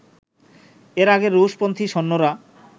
এর আগে রুশ-পন্থী সৈন্যরা